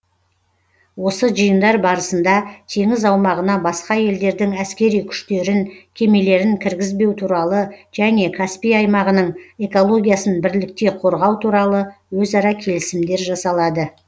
осы жиындар барысында теңіз аумағына басқа елдердің әскери күштерін кемелерін кіргізбеу туралы және каспий аймағының экологиясын бірлікте қорғау туралы өзара келісімдер жасалады